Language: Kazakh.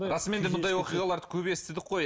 расымен де сондай оқиғаларды көп естідік қой